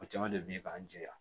O caman de bɛ ye k'an jɛya